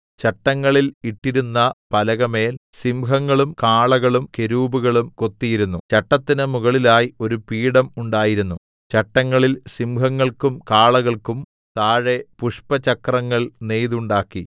ചട്ടങ്ങളിൽ ഇട്ടിരുന്ന പലകമേൽ സിംഹങ്ങളും കാളകളും കെരൂബുകളും കൊത്തിയിരുന്നു ചട്ടത്തിന് മുകളിലായി ഒരു പീഠം ഉണ്ടായിരുന്നു ചട്ടങ്ങളിൽ സിംഹങ്ങൾക്കും കാളകൾക്കും താഴെ പുഷ്പചക്രങ്ങൾ നെയ്തുണ്ടാക്കി